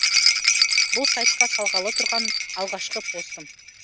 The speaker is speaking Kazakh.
бұл сайтқа салғалы тұрған алғашқы постым